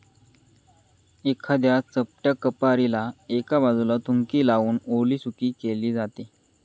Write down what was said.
एखाद्या चपट्या खपारीला एका बाजूला थुंकी लावून ओलीसुकी केली जाते.